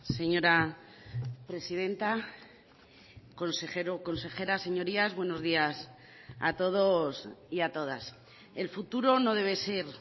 señora presidenta consejero consejeras señorías buenos días a todos y a todas el futuro no debe ser